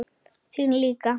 Þín líka.